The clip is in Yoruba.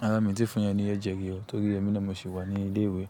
Rárá mi tí fún ẹeyan ní ẹ̀jẹ̀ rí o, torí ẹmi náà mo ṣi wà ní ilé ìwé,